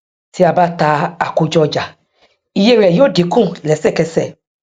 tí a bá ta àkójọ ọjà iye rẹ yóó dínkù lesekese